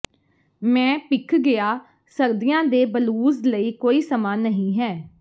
ਮੈਂ ਭਿੱਖ ਗਿਆ ਸਰਦੀਆਂ ਦੇ ਬਲੂਜ਼ ਲਈ ਕੋਈ ਸਮਾਂ ਨਹੀਂ ਹੈ